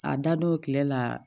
A dadɔw kile la